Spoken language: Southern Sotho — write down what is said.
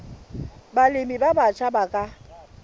balemi ba batjha ba ka